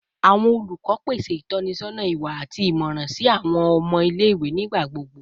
Awọn olukọ pese itọnisọna iwa ati imọran si awọn ọmọ ile-iwe nigbagbogbo